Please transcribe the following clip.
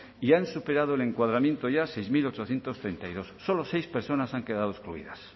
y han superado el encuadramiento ya seis mil ochocientos treinta y dos solo seis personas han quedado excluidas